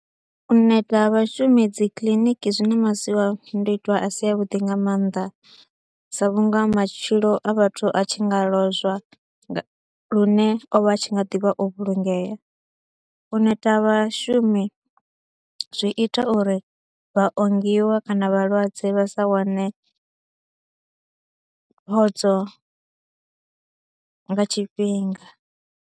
U neta ha vhashumi dzi kiḽiniki zwi na masiandoitwa a si avhuḓi nga maanḓa sa vhunga matshilo a vhathu a tshi nga lozwa lune o vha a tshi nga ḓi vha o vhulungea, u neta ha vhashumi zwi ita uri vhaongiwa kana vhalwadze vha sa wane phodzo nga tshifhinga.